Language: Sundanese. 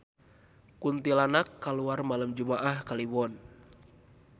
Kuntilanak kaluar malem jumaah Kaliwon